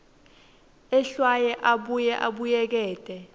ehlwaye abuye abuyekete